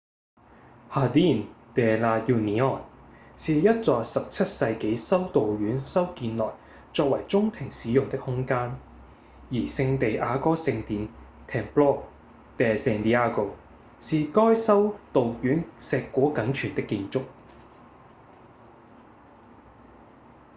jardín de la unión 是一座17世紀修道院修建來作為中庭使用的空間而聖地牙哥聖殿 templo de san diego 是該修道院碩果僅存的建築